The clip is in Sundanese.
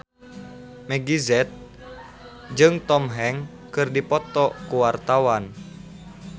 Meggie Z jeung Tom Hanks keur dipoto ku wartawan